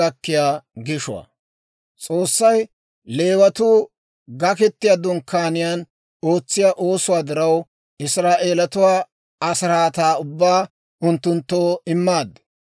S'oossay, «Leewatuu Gaketiyaa Dunkkaaniyaan ootsiyaa oosuwaa diraw, Israa'eelatuwaa asiraataa ubbaa unttunttoo immaad.